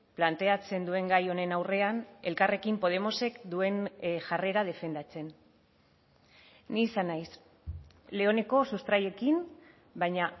planteatzen duen gai honen aurrean elkarrekin podemosek duen jarrera defendatzen ni izan naiz leoneko sustraiekin baina